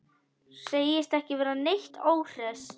Segist ekki vera neitt óhress.